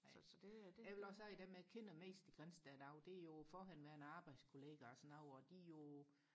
jeg vil også sige dem jeg kender mest i Grindsted i dag det er jo forhenværende arbejdskollegaer og sådan noget og de er jo